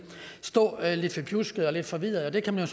stå lidt forpjuskede og lidt forvirrede og det kan man